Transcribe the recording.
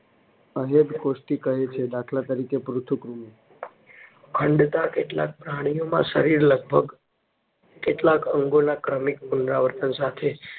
અદેહકોષ્ઠી કહે છે. દાખલ તરીકે પૃથુકૃમિ. ખંડતા કેટલાક પ્રાણીઓમાં શરીર લગભગ કેટલાક અંગોના ક્રમિક પુનરાવર્તન સાથે